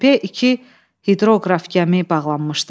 Körpüyə iki hidroqraf gəmi bağlanmışdı.